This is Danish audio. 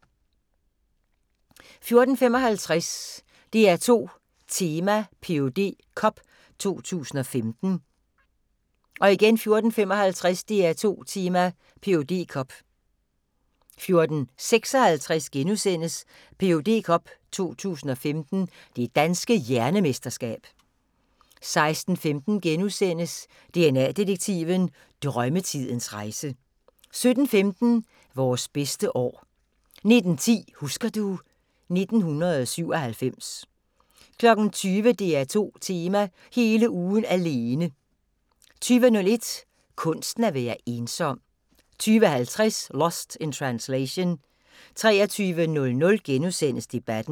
14:55: DR2 Tema: Ph.D. Cup 2015 14:55: DR2 Tema: PhD Cup 14:56: Ph.D. Cup 2015 – Det Danske Hjernemesterskab * 16:15: DNA-detektiven – Drømmetidens rejse * 17:15: Vore bedste år 19:10: Husker du ... 1997 20:00: DR2 Tema: Hele ugen alene 20:01: Kunsten at være ensom 20:50: Lost in Translation 23:00: Debatten *